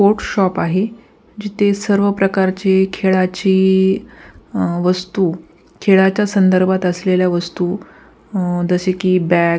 sport shop आहे जीथे सर्व प्रकारचे खेळाचे वस्तू खेळाच्या संधर्बात असलेल्या वस्तू अ जसे कि बॅट --